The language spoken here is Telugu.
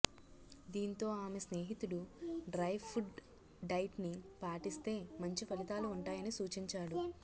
దీంతో ఆమె స్నేహితుడు డ్రై ఫుడ్ డైట్ ని పాటిస్తే మంచి ఫలితాలు ఉంటాయని సూచించాడు